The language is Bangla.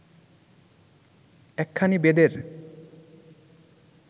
একখানি বেদের